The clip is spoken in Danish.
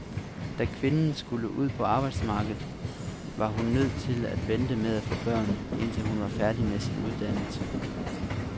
Da kvinden skulle ud på arbejdsmarkedet, var hun nødt til at vente med at få børn, indtil hun var færdig med sin uddannelse.